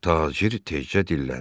Tacir tezcə dilləndi.